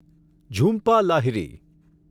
Jhumpa Lahiri